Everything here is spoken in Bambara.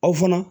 Aw fana